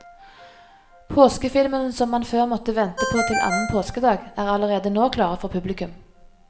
Påskefilmene som man før måtte vente på til annen påskedag, er allerede nå klare for publikum.